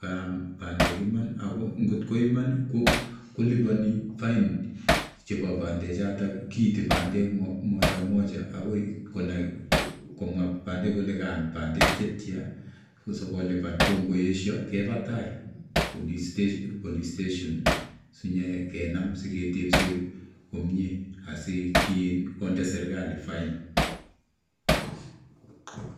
kaam bandek Iman, ako ngot ko Iman koliponi fain chebo bandechotet, kiiti bandek mojamoja, akoi komwaa anan konai kole kakiam bandek chetian, asikolipan. Ako ngot keyesho kebaa tai police station sinyekenam siketebseen komie asikonde serkalit fain